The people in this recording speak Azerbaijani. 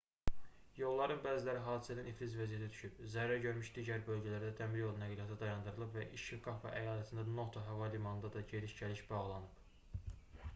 yolların bəziləri hadisədən iflic vəziyyətə düşüb. zərər görmüş digər bölgələrdə dəmiryolu nəqliyyatı dayandırılıb və i̇şikava əyalətindəki noto hava limanına da gediş-gəliş bağlanıb